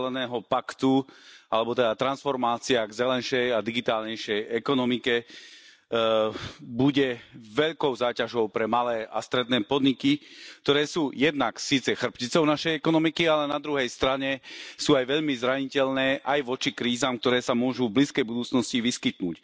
zeleného paktu alebo teda transformácia k zelenšej a digitálnejšej ekonomike bude veľkou záťažou pre malé a stredné podniky, ktoré sú jednak síce chrbticou našej ekonomiky, ale na druhej strane sú aj veľmi zraniteľné aj voči krízam, ktoré sa môžu v blízkej budúcnosti vyskytnúť.